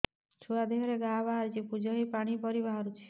ଛୁଆ ଦେହରେ ଘା ବାହାରିଛି ପୁଜ ହେଇ ପାଣି ପରି ବାହାରୁଚି